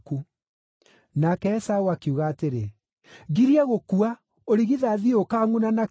Nake Esaũ akiuga atĩrĩ, “Ngirie gũkua, ũrigithathi ũyũ ũkaangʼuna na kĩ?”